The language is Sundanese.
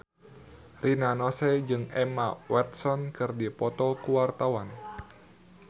Rina Nose jeung Emma Watson keur dipoto ku wartawan